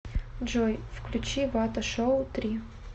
джой включи вата шоу три